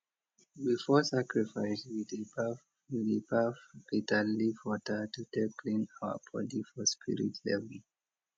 before sacrifice we dey baff we dey baff bitterleaf water to take clean our body for spirit level